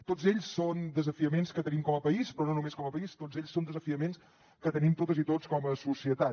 tots ells són desafiaments que tenim com a país però no només com a país tots ells són desafiaments que tenim totes i tots com a societat